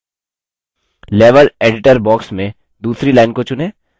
level editor box में दूसरी line को चुनें